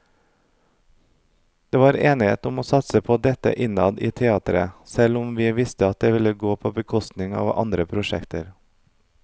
Det var enighet om å satse på dette innad i teatret selv om vi visste at det ville gå på bekostning av andre prosjekter.